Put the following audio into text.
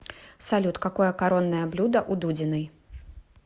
салют какое коронное блюдо у дудиной